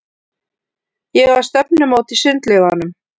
Ég á stefnumót í sundlaugunum.